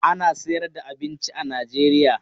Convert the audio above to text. Ana sayar da abinci a Najeriya.